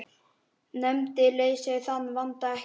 Nefndir leysa þann vanda ekki.